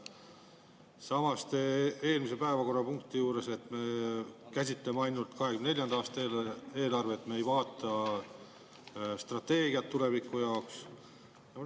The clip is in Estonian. Samas te eelmise päevakorrapunkti juures, et me käsitleme ainult 2024. aasta eelarvet, me ei vaata strateegiat tuleviku jaoks.